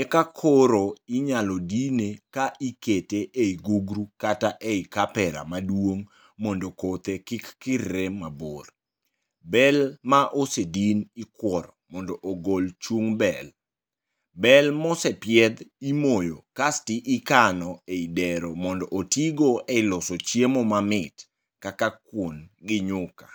eka koro inyalo dine ka ikete ei gugru kata eikapera maduong' mondo kothe kik kirre mabor. Bel ma osedin ikuoro mondo ogol chung' bel, bel mosepiedhi imoyo kasto ikano ei dero mondo otigo eloso chiemo mamit kaka kuon gi nyuka